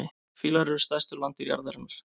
Fílar eru stærstu landdýr jarðarinnar.